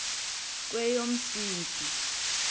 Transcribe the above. kweyomsintsi